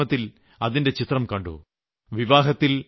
ഞാൻ സാമൂഹ്യമാധ്യമത്തിൽ അതിന്റെ ചിത്രം കണ്ടു